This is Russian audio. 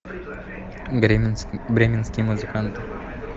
бременские музыканты